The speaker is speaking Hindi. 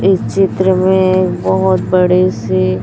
इस चित्र में बहोत बड़े से--